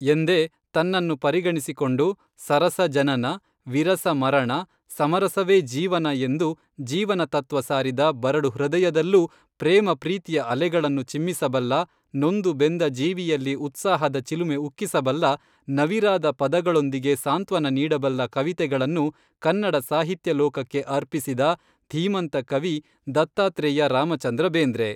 ಎಂದೇ ತನ್ನನ್ನು ಪರಿಗಣಿಸಿಕೊಂಡು ಸರಸ, ಜನನ, ವಿರಸ, ಮರಣ ಸಮರಸವೇ ಜೀವನ ಎಂದು ಜೀವನ ತತ್ವ ಸಾರಿದ ಬರಡು ಹೃದಯದಲ್ಲೂ, ಪ್ರೇಮಪ್ರೀತಿಯ ಅಲೆಗಳನ್ನು ಚಿಮ್ಮಿಸಬಲ್ಲ, ನೊಂದು ಬೆಂದ ಜೀವಿಯಲ್ಲಿ ಉತ್ಸಾಹದ ಚಿಲುಮೆ ಉಕ್ಕಿಸಬಲ್ಲ, ನವಿರಾದ ಪದಗಳೊಂದಿಗೆ ಸಾಂತ್ವನ ನೀಡಬಲ್ಲ ಕವಿತೆಗಳನ್ನು ಕನ್ನಡ ಸಾಹಿತ್ಯ ಲೋಕಕ್ಕೆ ಅರ್ಪಿಸಿದ ಧೀಮಂತ ಕವಿ ದತ್ತಾತ್ರೇಯ ರಾಮಚಂದ್ರ ಬೇಂದ್ರೆ